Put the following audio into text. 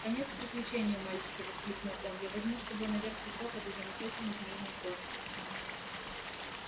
конец приключению мальчики воскликнул он я возьму с собой наверх кусок этой замечательной змеиной кожи